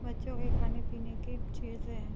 बच्चो के खाने-पीने की चीजे है।